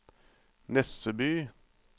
Nesseby